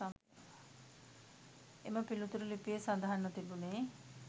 එම පිළිතුර ලිපියේ සඳහන්ව තිබුණේ